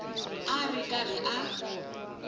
a a ri karhi a